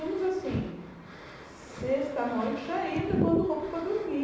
Íamos assim, sexta à noite, já ia levando roupa para dormir.